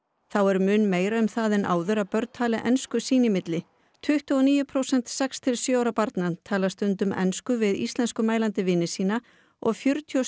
þá er mun meira um það en áður að börn tali ensku sín í milli tuttugu og níu prósent sex til sjö ára barna tala stundum ensku við íslenskumælandi vini sína og fjörutíu og